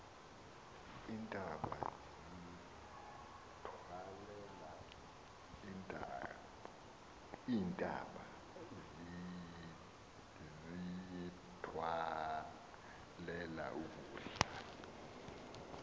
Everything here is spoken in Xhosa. iintaba ziyithwalela ukudla